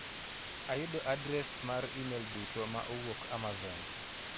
Ayudo adres mar imel duto ma owuok amazon